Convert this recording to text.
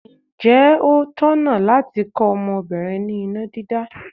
Ǹjẹ́ ó tọ̀nà láti kọ́ ọmọbìnrin ní iná dídá?